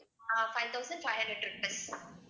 ah five thousand five hundred rupees